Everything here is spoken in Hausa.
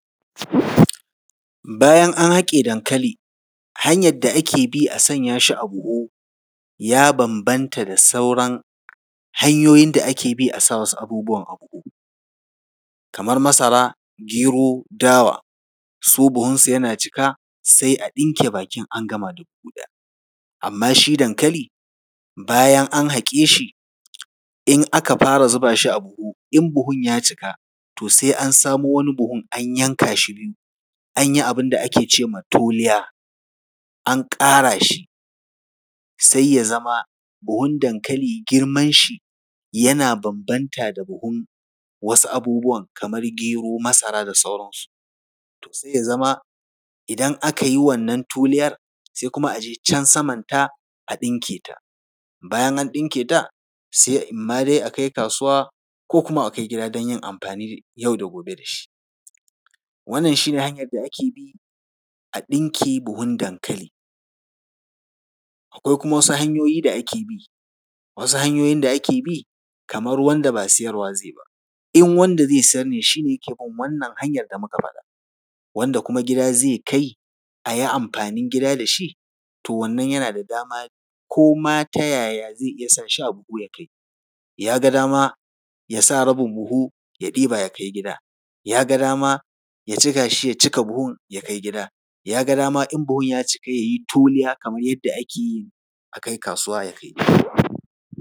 Bayan an haƙe dankali, hanyar da ake bi a sa shi a buhu, ya bambanta da sauran hanyoyin da ake bi a sa wasu abubuwan a buhu, kamar masara, gero, dawa. Su buhunsu yana cika, sai a ɗinke bakin, an gama da buhu ɗaya. Amma shi dankali, bayan an haƙe shi, in aka fara zuba shi a buhu, in buhun ya cika, to sai an samo wani buhun an yanka shi biyu, an yi abin da ake ce ma ‘tuliya’, an ƙara shi, sai ya zama buhun dankali, girmanshi yana bambanta da buhun wasu abubuwan kamar gero, masara da sauransu. To sai ya zama idan aka yi wannan tuliyar, sai kuma a je can samanta, a ɗinke ta. Bayan an ɗinke ta, sai in ma dai a kai kasuwa ko kuma a kai gida don yin amfani yau da gobe da shi. Wannan shi ne hanyar da ake bi a ɗinke buhun dankali. Akwai kuma wasu hanyoyi da ake bi, wasu hanyoyin da ake bi, kamar wanda ba sayarwa zai yi ba. In wanda zai sayar ne, shi ne yake bin wannan hanyar da muka faɗa. wanda kuma gida zai kai, a yi amfanin gida da shi, to wannan yana da dama ko ma ta yaya zai iya sa shi a buhu ya kai. Ya ga dama, ya sa rabin buhu, ya ɗiba, ya kai gida, ya ga dama, ya cika buhun ya kai gida, ya ga dama in buhun ya cika, ya yi tuliya kamar yadda ake yi a kai kasuwa, ya kai.